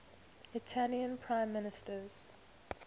italian prime minister